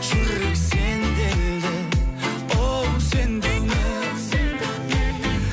жүрек сенделді оу сен деумен оу сен деумен